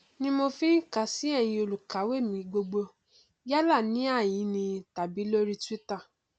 ni mo fi ń kàn sí ẹyin olùkàwé mi gbogbo yálà ní ìhàhín ni tàbí lórí twítà